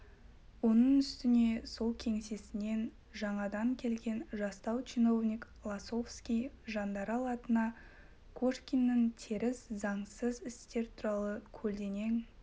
оның үстіне сол кеңсесінен жаңада келген жастау чиновник лосовский жандарал атына кошкиннің теріс заңсыз істері туралы көлденең